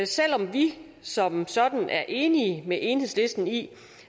selv om vi som sådan er enige med enhedslisten i